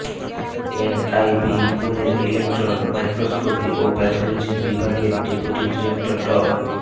NIV পুণের electron microscopy ও pathology বিভাগের ডেপুটি ডিরেক্টর ড